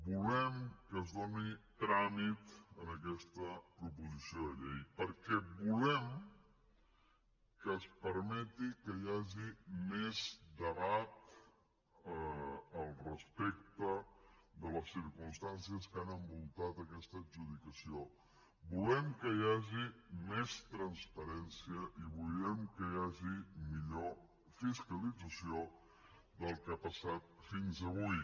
volem que es doni tràmit a aquesta proposició de llei perquè volem que es permeti que hi hagi més debat al respecte de les circumstàncies que han envoltat aquesta adjudicació volem que hi hagi més transparència i volem que hi hagi millor fiscalització del que ha passat fins avui